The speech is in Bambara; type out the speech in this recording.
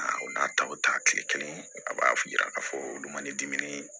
O d'a ta o ta tile kelen a b'a yira k'a fɔ olu ma ni dimi ye